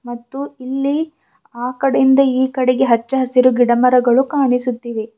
ಮತ್ತು ಇಲ್ಲಿ ಆ ಕಡೆಯಿಂದ ಈ ಕಡೆಗೆ ಹಚ್ಚಹಸಿರು ಗಿಡಮರಗಳು ಕಾಣಿಸುತ್ತಿವೆ.